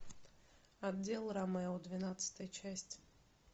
отдел ромео двенадцатая часть